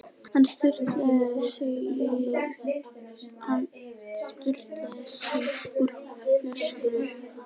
Hann sturtaði í sig úr flöskunni.